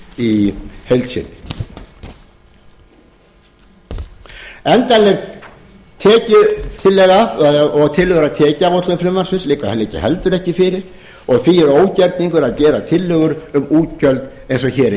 því er ógerningur að gera tillögur um útgjöld eins og hér er gert endanleg tekjutillaga og tillögur að tekjuáætlun frumvarpsins liggur heldur ekki fyrir og því er ógerningur að gera tillögur um útgjöld eins og hér er